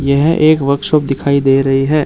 यह एक वर्कशॉप दिखाई दे रही है।